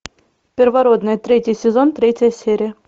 первородные третий сезон третья серия